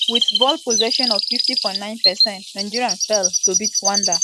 wit ball possession of 50.9 percent nigeria fail to beat rwanda wey get 49.9 percent for dia afcon qualifier match.